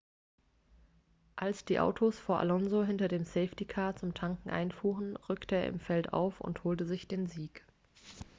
als die autos vor alonso hinter dem safety-car zum tanken einfuhren rückte er im feld auf und holte sich den sieg